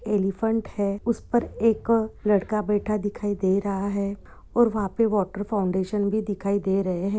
Elephant है उस पर एक लड़का बैठा दिखाई दे रहा है और वहा पे वाटर फाउंटेन भी दिखाई दे रहे है।